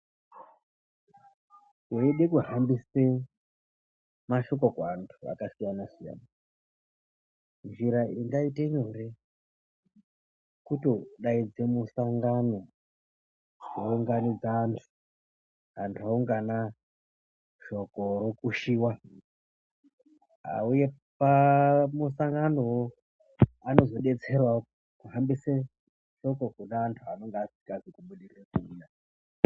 Weide kuhambisa mashoko kuantu akasiyanasiyana njira ingaite nyore kutodaidze musangano wounganidze anhu ,anhu oungana shoko rokushiwa auya pamusanganowo anozodetserewo kuhambisa shoko kune antu anonga asikazi kubudirire kuuya.